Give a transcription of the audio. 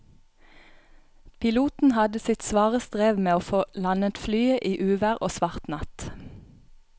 Piloten hadde sitt svare strev med å få landet flyet i uvær og svart natt.